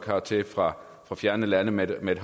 hertil fra fjerne lande med med et